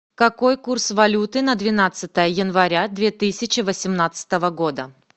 какой курс валюты на двенадцатое января две тысячи восемнадцатого года